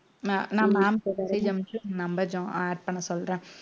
நான் ma'am க்கு message அனுப்பிச்சு number jo~ add பண்ண சொல்றேன்